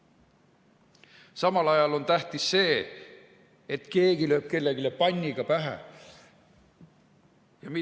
Samal ajal on tähtis see, et keegi lööb kellelegi panniga pähe!